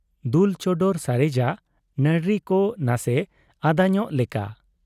ᱫᱩᱞ ᱪᱚᱰᱚᱨ ᱥᱟᱨᱮᱡᱟᱜ ᱱᱟᱹᱨᱲᱤᱠᱚ ᱱᱟᱥᱮ ᱟᱫᱟᱧᱚᱜᱽ ᱞᱮᱠᱟ ᱾